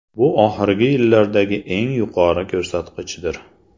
Bu oxirgi yillardagi eng yuqori ko‘rsatkichdir.